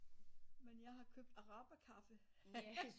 Men jeg har købt araber kaffe